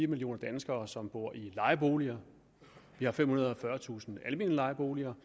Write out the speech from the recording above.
millioner danskere som bor i lejeboliger vi har femhundrede og fyrretusind almene lejeboliger